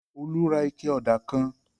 Olú ra ike ọ̀dà kan.